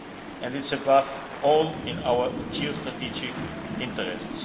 And it's, above all, in our geostrategic interests.